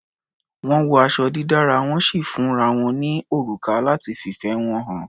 Wọ́n wọ aṣọ dídára, wọ́n sì fúnra wọn ní òrùka láti fìfẹ́ wọn hàn.